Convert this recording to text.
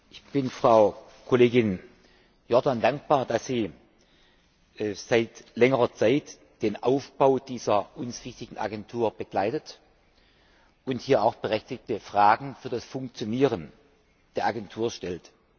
Ich bin Frau Kollegin Jordan dankbar, dass sie seit längerer Zeit den Aufbau dieser uns wichtigen Agentur begleitet und hier auch berechtigte Fragen für das Funktionieren der Agentur stellt.